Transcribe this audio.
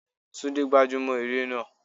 Túndé gbájú mọ́ eré náà.